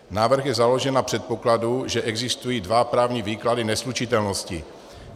Návrh je založen na předpokladu, že existují dva právní výklady neslučitelnosti.